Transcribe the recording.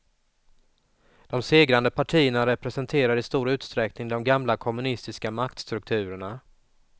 De segrande partierna representerar i stor utsträckning de gamla kommunistiska maktstrukturerna.